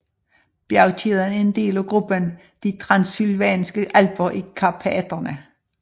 Bjergkæden er en del af gruppen de Transsylvanske Alper i Karpaterne